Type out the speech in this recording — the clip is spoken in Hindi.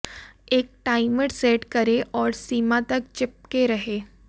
एक टाइमर सेट करें और सीमा तक चिपके रहें